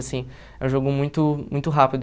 Assim, é um jogo muito muito rápido.